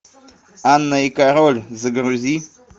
анна и король загрузи